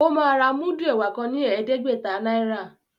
O ma rà mudu ẹwà kán ní ẹdẹgbẹta náírà.